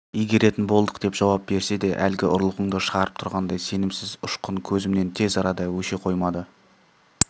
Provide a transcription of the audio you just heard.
игеретін болдық деп жауап берсе де әлгі ұрлығыңды шығарып тұрғандай сенімсіз ұшқын көзінен тез арада өше қоймады